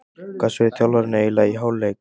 Hvað sögðu þjálfararnir eiginlega í hálfleik?